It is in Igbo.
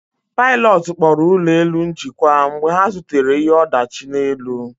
Pilotu kpọrọ ụlọ elu njikwa mgbe ha zutere ihe ọdachi n'elu